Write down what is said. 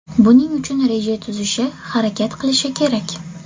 Buning uchun reja tuzishi, harakat qilishi kerak.